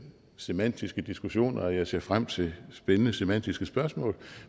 semantiske diskussioner og jeg ser frem til spændende semantiske spørgsmål